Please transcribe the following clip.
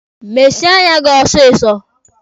Mesie anya gị ọsịsọ!